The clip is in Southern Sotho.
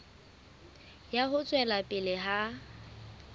ya ho tswela pele ha